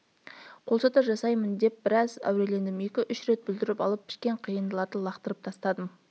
қолшатыр жасаймын деп біраз әурелендім екі-үш рет бүлдіріп алып пішкен қиындыларды лақтырып тастадым